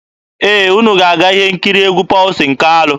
Ee, unu ga-aga ihe nkiri egwu Pọlsin Kalụ.